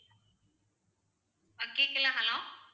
ஆஹ் கேக்கல hello